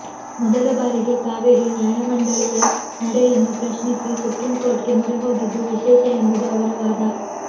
ಮೊದಲ ಬಾರಿಗೆ ಕಾವೇರಿ ನ್ಯಾಯಮಂಡಳಿಯ ನಡೆಯನ್ನು ಪ್ರಶ್ನಿಸಿ ಸುಪ್ರೀಂ ಕೋರ್ಟ್ಗೆ ಮೊರೆ ಹೋಗಿದ್ದು ವಿಶೇಷ ಎಂಬುದು ಅವರ ವಾದ